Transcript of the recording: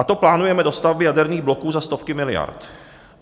A to plánujeme dostavby jaderných bloků za stovky miliard.